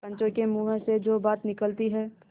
पंचों के मुँह से जो बात निकलती है